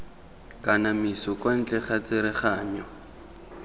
kanamiso kwa ntle ga tsereganyo